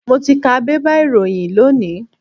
Mo ti ka bébà ìròyìn lónìí.